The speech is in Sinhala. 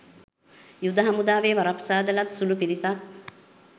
යුද හමුදාවේ වරප්‍රසාද ලත් සුළු පිරිසක්